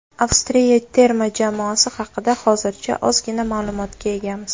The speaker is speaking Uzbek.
Avstriya terma jamoasi haqida hozircha ozgina ma’lumotga egamiz.